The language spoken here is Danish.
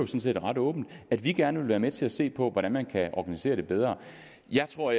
set ret åbent at vi gerne vil være med til at se på hvordan man kan organisere det bedre jeg tror